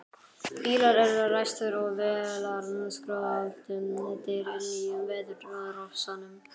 Bílar eru ræstir og vélarskröltið deyr inní veðurofsanum.